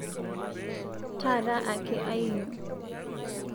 Taata ake ainyuo